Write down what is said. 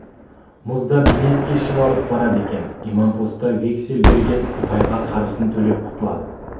мұзда бейнет кешіп алып барады екен имампоста вексель берген байға қарызын төлеп құтылады